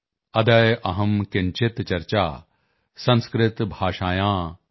ਅਦਯ ਅਹੰ ਕਿੰਚਿਤ ਚਰਚਾ ਸੰਸਕ੍ਰਿਤ ਭਾਸ਼ਾਯਾਂ ਆਰਭੇ